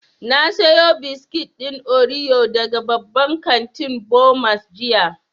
Na sayo biskit ɗin oriyo daga babban kantin Bomas jiya